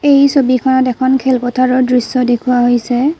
এই ছবিখনত এখন খেলপথাৰৰ দৃশ্য দেখুওৱা হৈছে।